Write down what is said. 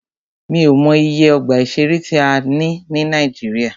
Mí ò mọ iye ọgbà ìṣẹ̀rẹ́ tí a ní ní Nàíjíríà.